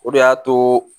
O de y'a to